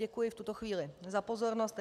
Děkuji v tuto chvíli za pozornost.